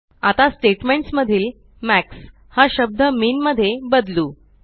आता स्टेट्मेंट्स मधील मॅक्स हा शब्द मिन मध्ये बदलू